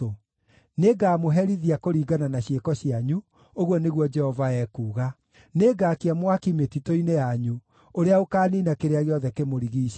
Nĩngamũherithia kũringana na ciĩko cianyu, ũguo nĩguo Jehova ekuuga. Nĩngaakia mwaki mĩtitũ-inĩ yanyu, ũrĩa ũkaaniina kĩrĩa gĩothe kĩmũrigiicĩirie.’ ”